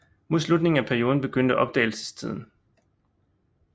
Mod slutningen af perioden begyndte opdagelsestiden